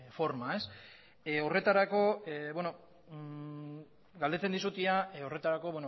forma ez horretarako galdetzen dizut ia horretarako